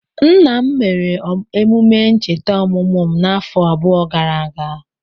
Nna m mere emume ncheta ọmụmụ m afọ abụọ gara aga.